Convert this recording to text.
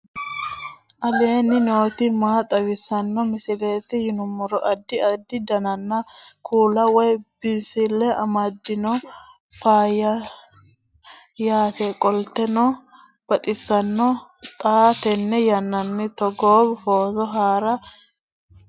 aleenni nooti maa xawisanno misileeti yinummoro addi addi dananna kuula woy biinsille amaddino footooti yaate qoltenno baxissannote xa tenne yannanni togoo footo haara danvchate